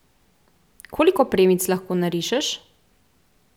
Koliko premic lahko narišeš?